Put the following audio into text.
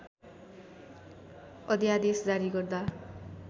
अध्‍यादेश जारी गर्दा